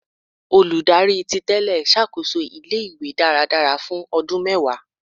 Oludari titele ṣakoso ile-iwe daradara fun ọdun mẹwa